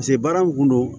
pase baara mun kun don